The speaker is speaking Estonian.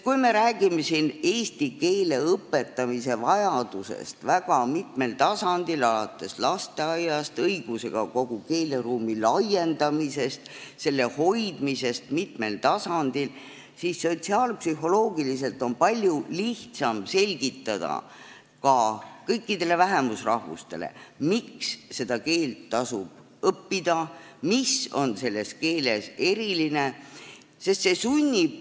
Kui me räägime eesti keele õpetamise vajadusest väga mitmel tasandil, alates lasteaiast, kui me räägime õigusega kogu keeleruumi laiendamisest, selle hoidmisest mitmel tasandil, siis sotsiaalpsühholoogiliselt on sel juhul palju lihtsam selgitada ka kõikidele vähemusrahvustele, miks seda keelt tasub õppida, mis on selles keeles erilist.